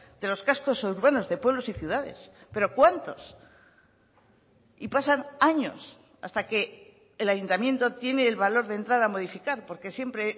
de los cascos urbanos de pueblos y ciudades pero cuántos y pasan años hasta que el ayuntamiento tiene el valor de entrar a modificar porque siempre